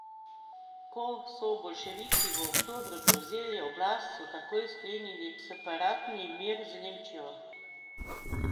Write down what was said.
Ko so boljševiki v oktobru prevzeli oblast so takoj sklenili separatni mir z Nemčijo.